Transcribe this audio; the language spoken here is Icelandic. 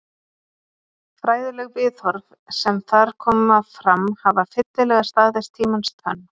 Fræðileg viðhorf sem þar koma fram hafa fyllilega staðist tímans tönn.